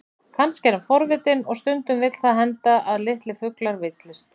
Kannski er hann forvitinn, og stundum vill það henda að litlir fuglar villist.